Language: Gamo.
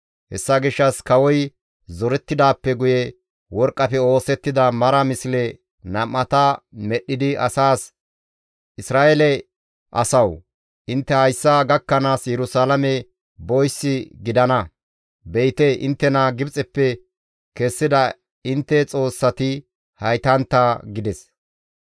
Hessa gishshas kawoy zorettidaappe guye worqqafe oosettida mara misle nam7ata medhdhidi asaas, «Isra7eele asawu! Intte hayssa gakkanaas Yerusalaame boyssi gidana. Be7ite inttena Gibxeppe kessida intte xoossati haytantta!» gides.